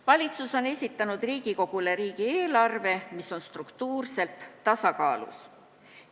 Valitsus on esitanud Riigikogule riigieelarve, mis on struktuurselt tasakaalus.